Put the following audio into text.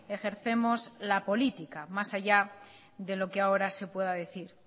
ejercemos la política más allá de lo que ahora se pueda decir